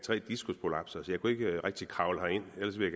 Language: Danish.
tre diskusprolapser så jeg kunne ikke rigtig kravle herind ellers ville